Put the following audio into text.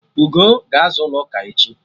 Ugoo ga-aza ụlọ ụka echi